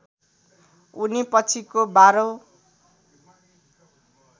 उनी पछिको १२ औँ